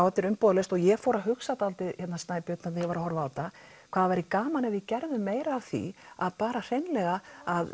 þetta er umbúðalaust og ég fór að hugsa Snæbjörn þegar ég var að horfa á þetta hvað það væri gaman ef við gerðum meira af því að bara hreinlega